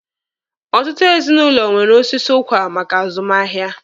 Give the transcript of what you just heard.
Ọtụtụ ezinụlọ nwere osisi ụkwa maka azụmahịa.